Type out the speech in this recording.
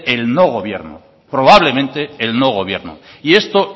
el no gobierno probablemente el no gobierno y esto